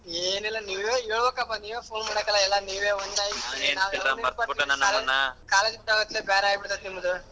ಏನಿಲ್ಲ ನೀವೇ ಹೇಳ್ಬೇಕಪ್ಪ ನೀವೇ phone ಮಾಡಕಲ್ಲ ಎಲ್ಲಾ ನೀವೇ college ಬಿಟ್ಮೇಲೆನೇ ಬೇರೆ ಆಗ್ಬಿಡುತ್ತೆ ನಿಮ್ದು.